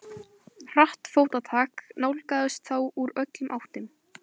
Hratt fótatak nálgaðist þá úr öllum áttum.